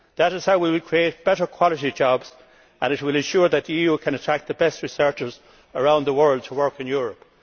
That is how we will create better quality jobs and it will ensure that the EU can attract the best researchers around the world to work in Europe.